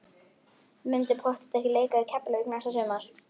Muntu pottþétt ekki leika með Keflavík næsta sumar?